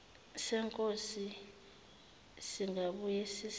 senkosi singabuye sisize